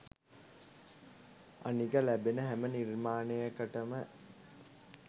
අනික ලැබෙන හැම නිර්මාණයකටම